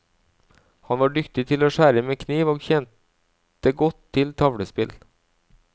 Han var dyktig til å skjære med kniv og kjente godt til tavlespill.